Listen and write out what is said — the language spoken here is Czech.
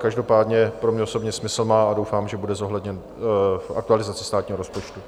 Každopádně pro mě osobně smysl má a doufám, že bude zohledněn v aktualizaci státního rozpočtu.